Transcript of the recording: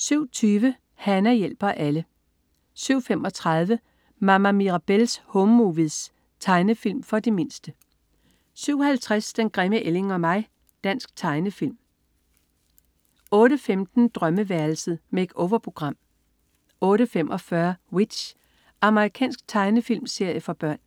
07.20 Hana hjælper alle 07.35 Mama Mirabelle's Home Movies. Tegnefilm for de mindste 07.50 Den grimme ælling og mig. Dansk tegnefilm 08.15 Drømmeværelset. Make-over-program 08.45 W.i.t.c.h. Amerikansk tegnefilmserie for børn